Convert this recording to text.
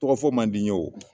Tɔgɔfɔ man di n ye wo